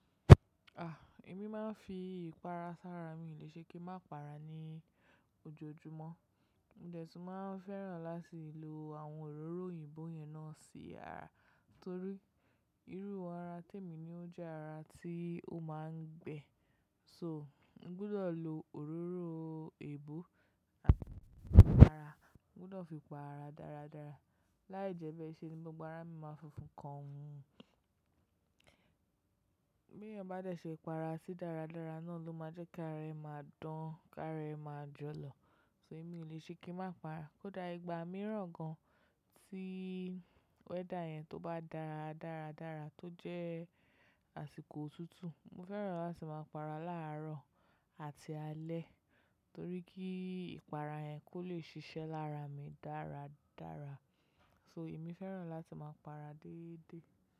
A! Èmi máa ń fi ìpara sára, mi lè ṣe kí n má pa ara ní ojoojúmọ́. Mo dẹ̀ tún máa ń fẹ́ràn láti lo àwọn òróró òyìnbó yẹn náà sí ara. Torí irú ara tèmi ni ó jẹ́ ara tí ó máa ń gbẹ. So, n gbudọ̀ lo òróró èébo àti ipara, n gbudọ̀ fi pa ara dáradára. Láìjẹ́bẹ́ẹ́ ṣe ni gbogbo ara mi máa funfun kan. Bí èèyàn bá dẹ̀ ṣe para sí dáradára náà ló máa jẹ́ kára rẹ máa dán, ká rẹ máa jọ lọ. So èmi lè o ṣe kí n má para. Kódà ìgbà mìíràn gan-an tí wẹ́dà yẹn tó bá dára dáradára tó jẹ́ àsìkò òtútù, mo fẹ́ràn láti máa para láàárọ̀ àti alẹ́ torí kí ìpara yẹn kó lè ṣiṣẹ́ lára mi dáradára. So èmi fẹ́ràn láti máa para déédéé.